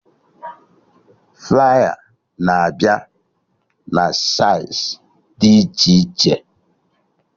Flaya na-abịa na saịz dị iche iche